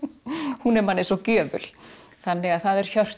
hún er manni svo gjöful þannig að það er Hjörtur